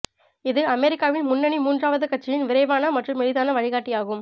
இது அமெரிக்காவின் முன்னணி மூன்றாவது கட்சியின் விரைவான மற்றும் எளிதான வழிகாட்டியாகும்